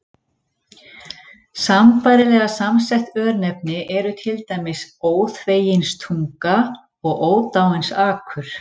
Sambærilega samsett örnefni eru til dæmis Óþveginstunga og Ódáinsakur.